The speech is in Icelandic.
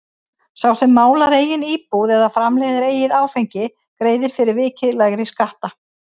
Sá sem málar eigin íbúð eða framleiðir eigið áfengi greiðir fyrir vikið lægri skatta.